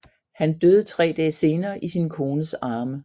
Han døde tre dag senere i sin kones arme